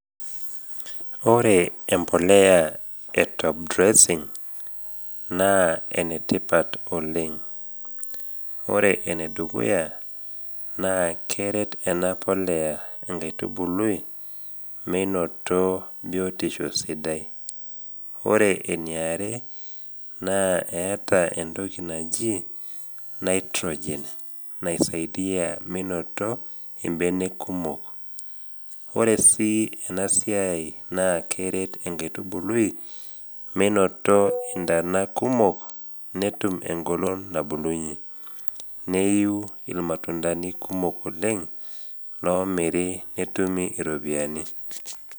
Ore embolea e top dressing naa enetipat oleng. Ore enedukuya naa, keret ena polea enkaitubului meinoto biotisho sidai, ore eniare naa eata entoki naji nitrogen naisaidia meinoto imbenek kumok. Ore sii ena siai naa keret enkaitubului meinoto intana kumok, netum engolon nabulunye, neiu ilmatundani kumok oleng, loomiri netumi iropiani.